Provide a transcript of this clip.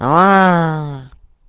ааа